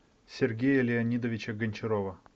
сергея леонидовича гончарова